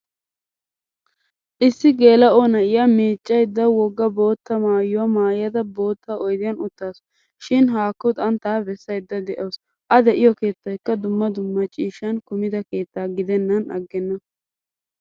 Issi gelao na'iyaa miccayda wogga bootta maayuwaa maayada boottaa oydiyan uttasu. Shin hakku xantta bessayda deawusu. A deiyo keettaykka dumma dumma ciishshan kumida keetta gidenan aggena.